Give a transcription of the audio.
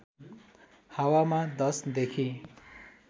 हावामा १० देखि